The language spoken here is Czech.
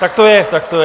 Tak to je, tak to je.